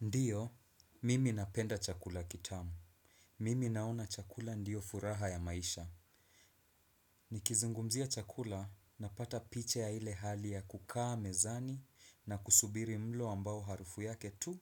Ndiyo, mimi napenda chakula kitamu. Mimi naona chakula ndiyo furaha ya maisha. Nikizungumzia chakula napata picha ya ile hali ya kukaa mezani na kusubiri mlo ambao harufu yake tu